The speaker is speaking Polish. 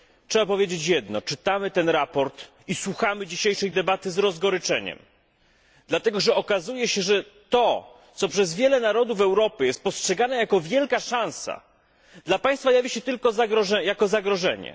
Trzeba powiedzieć jedno czytamy to sprawozdanie i słuchamy dzisiejszej debaty z rozgoryczeniem. Dlatego że okazuje się, że to, co przez wiele narodów Europy jest postrzegane jako wielka szansa, dla Państwa jawi się tylko jako zagrożenie.